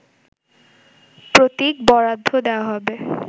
প্রতীক বরাদ্দ দেয়া হবে